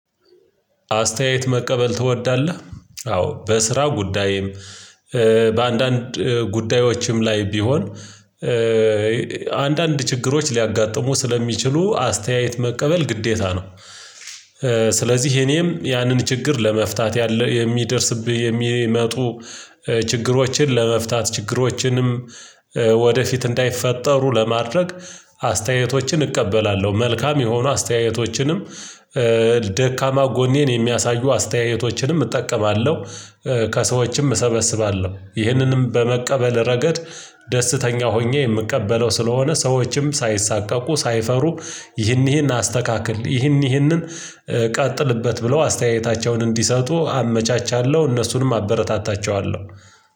አስተያየት መቀበል ትወዳለህ አዎ በስራ ጉዳይም በአንዳንድ ጉዳዮችም ላይ ቢሆን አንዳንድ ችግሮች ሊያጋጥሙ ስለሚችሉ አስተያየት መቀበል ግዴታ ነው። ስለዚህ እኔም ያንን ችግር ለመፍታት ያለው የሚደርስብህ የሚመጡ ችግሮችን ለመፍታት ችግሮችንም ወደፊት እንዳይፈጠሩ ለማድረግ አስተያየቶችን እቀበላለሁ። መልካም የሆኑ አስተያየቶችንም ደካማ ጎኔን የሚያሳዩ አስተያየቶችንም እጠቀማለሁ። ከሰዎችም እሰበስባለሁ ይህንንም በመቀበል ረገድ ደስተኛ ሆኜ የምቀበለው ስለሆነ ሰዎችም ሳይሳቀቁ ሳይፈሩ ይህን ይህን አስተካክል ይህንን ይህንን ቀጥልበት ብለው አስተያየታቸውን እንዲሰጡ አመቻቻለሁ። እነሱንም አበረታታቸዋለሁ።